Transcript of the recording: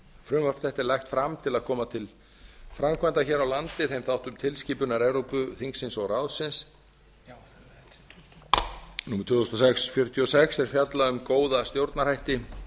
frumvarp þetta er lagt fram til að koma til framkvæmdar hér á landi þeim þáttum tilskipunar evrópuþingsins og evrópuráðsins númer tvö þúsund og sex fjörutíu og sex er fjalla um góða stjórnarhætti